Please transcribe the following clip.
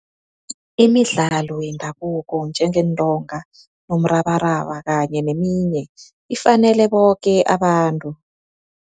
Imidlalo yendabuko njengeentonga nomrabaraba kanye neminye, ifanele boke abantu.